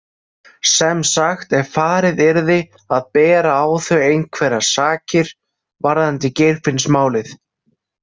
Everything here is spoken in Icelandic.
Sem sagt ef farið yrði að bera á þau einhverjar sakir varðandi Geirfinnsmálið.